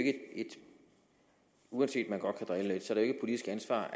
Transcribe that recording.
uanset at man godt kan drille lidt sænk det